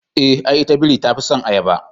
Eh, ai ita biri tafison ayaba